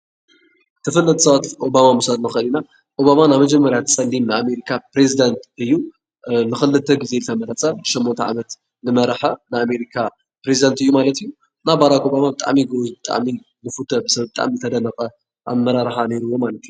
ተፈለጥቲ ሰባት ኦባማ ምውሳድ ንኽእል ኢና፡፡ ኦባማ ናይ መጀመርያ ፀሊም ናይ ኣሜሪካ ኘሬዚዳንት እዩ፡፡ ንኽልተ ጊዜ ዝተመረፀ ሸሞንተ ዓመት ልመረሐ ናይ ኣሜሪካ ኘሬዚዳንት እዩ ማለት እዩ፡፡ እና ባራክ ኦባማ ብጣዕሚ እዩ ጎበዝ ብጣዕሚ ልፍተ ብጣዕሚ ልተደነቐ ኣመራርሓ ነይሩዎ ማለት እዩ።